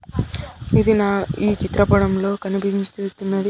ఇది నా ఈ చిత్రపటం లో కనిపించుచున్నది.